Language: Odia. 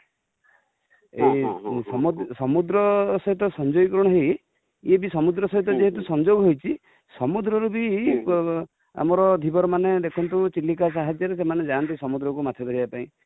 ସମୁଦ୍ର ସହିତ ସଂଯୋଗୀକରଣ ହୋଇ, ୟେ ବି ସମୁଦ୍ର ସହିତ ଯେହେତୁ ସଂଯୋଗ ହେଇଛି ସମୁଦ୍ର ରୁ ବି ଆମର ଧୀବର ମାନେ ଦେଖନ୍ତୁ ଚିଲିକା ସାହାଯ୍ୟ ରେ ସେମାନେ ଯାଆନ୍ତି ସମୁଦ୍ରକୁ ମାଛ ଧରିବା ପାଇଁ